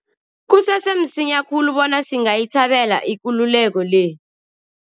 Kusese msinya khulu bona singayithabela ikululeko le.